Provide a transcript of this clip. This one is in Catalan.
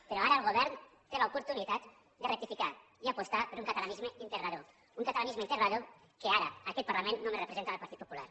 però ara el govern té l’oportunitat de rectificar i apostar per un catalanisme integrador un catalanisme integrador que ara en aquest parlament només representa el partit popular